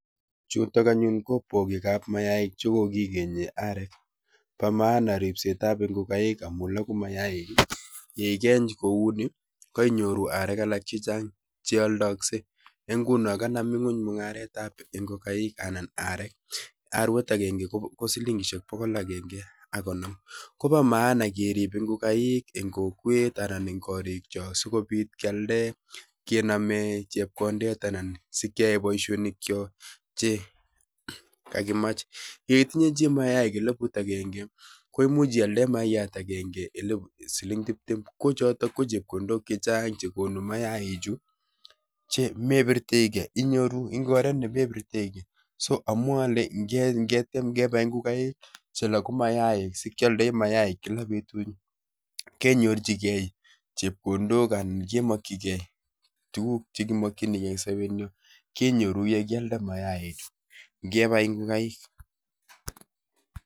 Chutok anyun ko bogekab mayaik che kokikenye arek, bo maana ripsetab ngokaik amuu logu mayaik. Ye ikeny kouni, koinyoru arek alak chechang' che aldaakse. Eng' nguno kanam ing'uny mungaretab ngokakik anan arek. Arwet agenge ko silingishiek bogol agenge ak konom. Kobo maana kerib ngokaik eng' kokwet anan eng' korik chok sikobit kealde kename chepkondet anan sikeae boisonik chok, che kakimach. Ye itinye chii mayaik elput agenge koimuch ialde mayaiyat agenge um siling tiptem. Ko chotok ko chepkondok chechang' che konu mayaik chu che mepirtoigei, inyoru eng' oret nemepirtoigei. So amwae ale ngetiem kebai ngokaik che logu mayaik, sikealdoi mayaik kila betut, kenyorchigei chepondok anan kemakchikei tuguk che kimakchinikei eng sobet nyoo, kenyoru ye kialde mayaik chuu. Ngebai ngokaik